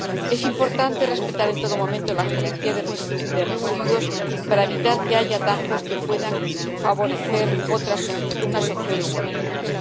Es importante respetar en todo momento la jerarquía de residuos para evitar que haya atajos que puedan favorecer unas opciones en vez de otras.